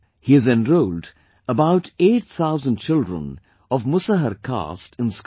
He has enrolled about 8 thousand children of Musahar caste in school